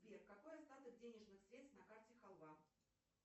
сбер какой остаток денежных средств на карте халва